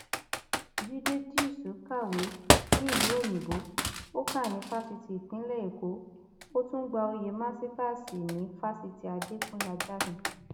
jíde díìṣù kàwé nílùú òyìnbó ó kà ní fásitì ìpínlẹ èkó ó tún gba oyè màsítáàsì ní fásitì adẹkùnlé ajásìn